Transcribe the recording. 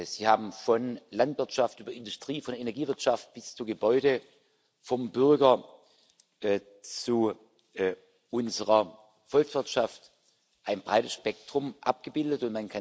Sie haben von Landwirtschaft über Industrie, von Energiewirtschaft bis zu Gebäuden, vom Bürger bis zu unserer Volkswirtschaft ein breites Spektrum abgebildet.